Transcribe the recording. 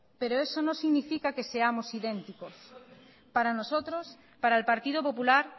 pero eso no significa que seamos idénticos para nosotros para el partido popular